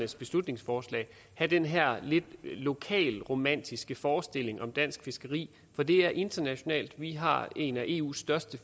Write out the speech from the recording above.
i beslutningsforslaget have den her lokalromantiske forestilling om dansk fiskeri for det er internationalt vi har en af eus største